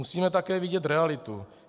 Musíme také vidět realitu.